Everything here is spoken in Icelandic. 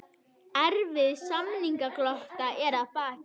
Erfið samningalota að baki